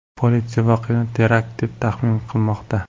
Politsiya voqeani terakt deb taxmin qilmoqda .